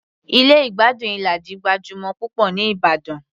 Ilé ìgbádùn Ilaji gbajúmọ̀ púpọ̀ ní ìbàdàn